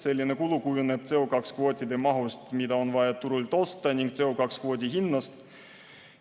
Selline kulu kujuneb CO2 kvootide mahust, mida on vaja turult osta, ning CO2 kvoodi hinnast.